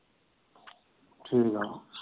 ਠੀਕ ਆ।